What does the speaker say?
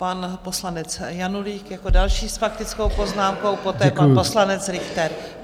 Pan poslanec Janulík jako další s faktickou poznámkou, poté pan poslanec Richter.